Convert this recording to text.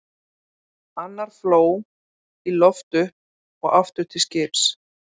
Annar fló í loft upp og aftur til skips.